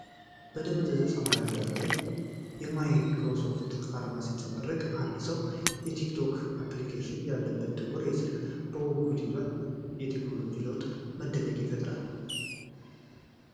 በደብዛዛ ሰማያዊ ዳራ ላይ የማይክሮሶፍት አርማ ሲንጸባረቅ፣ አንድ ሰው የቲኪቶክ አፕሊኬሽን ያለበትን ጥቁር ስልክ በጉጉት ይዟል። የቴክኖሎጂው ለውጥ መደነቅን ይፈጥራል።